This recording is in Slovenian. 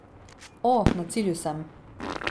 O, na cilju sem!